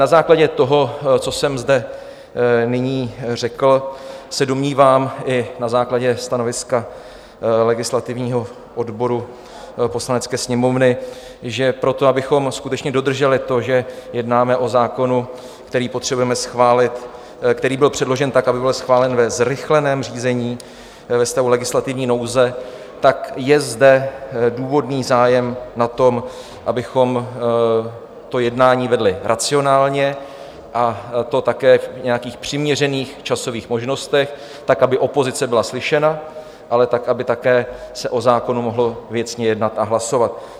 Na základě toho, co jsem zde nyní řekl, se domnívám, i na základě stanoviska legislativního odboru Poslanecké sněmovny, že proto, abychom skutečně dodrželi to, že jednáme o zákonu, který potřebujeme schválit, který byl předložen tak, aby byl schválen ve zrychleném řízení ve stavu legislativní nouze, tak je zde důvodný zájem na tom, abychom to jednání vedli racionálně, a to také v nějakých přiměřených časových možnostech, tak aby opozice byla slyšena, ale tak aby také se o zákonu mohlo věcně jednat a hlasovat.